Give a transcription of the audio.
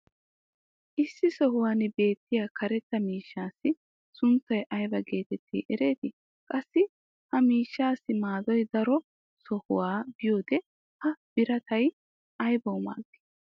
issi sohuwan beettiya karetta miishshaassi sunttay ayba geetetti erettii? qassi ha miishshaassi maadoy daro sohuwa biyoode ha birattay aybawu maadii?